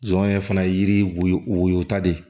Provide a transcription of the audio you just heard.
Zon ye fana ye yiri woyo woyota de ye